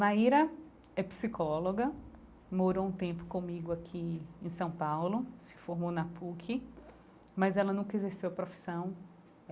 Maíra é psicóloga, morou um tempo comigo aqui em São Paulo, se formou na PUC, mas ela nunca exerceu a profissão.